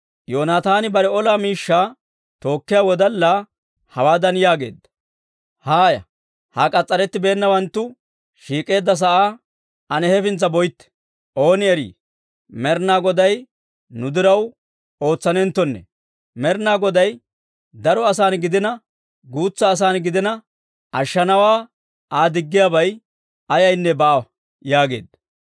Yoonaataani bare ola miishshaa tookkiyaa wodallaa hawaadan yaageedda; «Haaya; ha k'as's'arettibeennawanttu shiik'k'eedda sa'aa ane hefintsa boytte. Ooni erii, Med'inaa Goday nu diraw ootsanenttonne; Med'inaa Goday daro asan gidina, guutsa asan gidina, ashshanawaa Aa diggiyaabay ayaynne baawa» yaageedda.